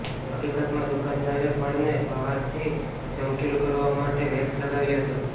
હકીકતમાં દુકાનદારે ફળને બહારથી ચમકીલું કરવા માટે વૈક્સ લગાવ્યું હતું